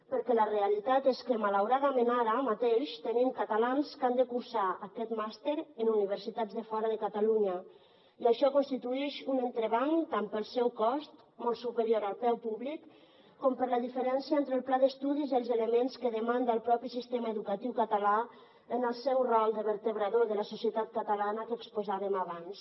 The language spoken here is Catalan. perquè la realitat és que malauradament ara mateix tenim catalans que han de cursar aquest màster en universitats de fora de catalunya i això constituïx un entrebanc tant pel seu cost molt superior al preu públic com per la diferència entre el pla d’estudis i els elements que demanda el propi sistema educatiu català en el seu rol de vertebrador de la societat catalana que exposàvem abans